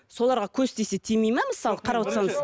соларға көз тисе тимей ме мысалы қарап отырсаңыз